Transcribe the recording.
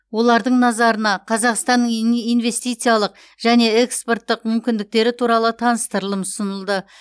олардың назарына қазақстанның инв инвестициялық және экспорттық мүмкіндіктері туралы таныстырылым ұсынылды